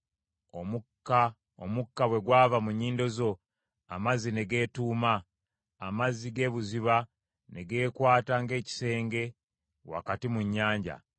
Omukka bwe gwava mu nnyindo zo, amazzi ne geetuuma; amazzi g’ebuziba ne geekwata ng’ekisenge wakati mu nnyanja.